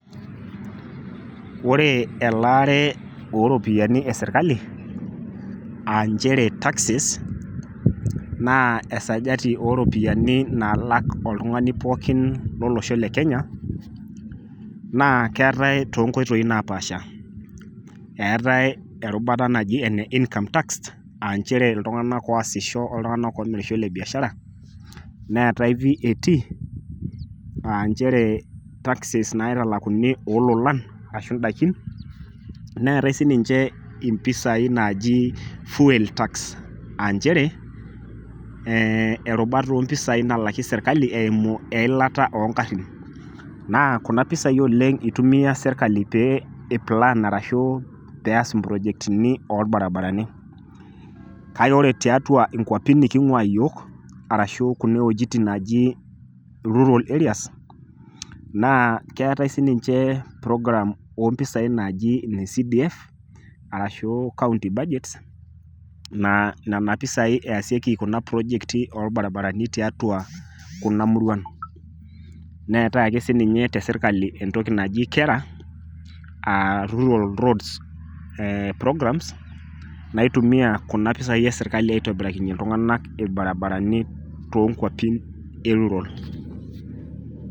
Ore elaare oo ropiyiani e serkali e taxes naa esajati oo ropiyiani naalak oltungani pookin otii olosho le Kenya naa keetae too nkoitoi napaasha, eetae erubata naji ene income tax naa enooltunganak oasisho aashu le biashara neetae VAT nchere taxes naitalakuni oo lolan ondaikin, naa ore sii mpisai naaji fuel tax naa erubata oo mpisai naalaki serkali eimu eilata oo ngarin naa kuna pisai eitumiya serkali oleng pee eipulaan ilbarabarani ,kake ore tiatua nkuapi nikitii aashu kulie wuejitin naaji rural areas naa keetae sii ninje program oo mpisai naaji ne CDF aashu county budget naashetekieki kuna projecti oolbaribarani neetae ake si ninye entoki naji te serkali KERA ,Rural roads program naitumiya kuna pisai e serkali aitobirakinye iltunganak ilbaribarani to nkuapi e rural